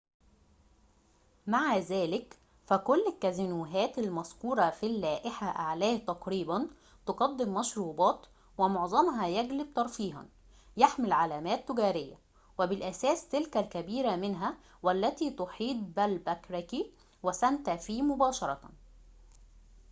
مع ذلك، فكل الكازينوهات المذكورة في اللائحة أعلاه تقريباً تقدم مشروبات، ومعظمها يجلب ترفيهاً يحمل علامات تجارية وبالأساس تلك الكبيرة منها والتي تحيط بألباكركي وسانتا فيه مباشرةً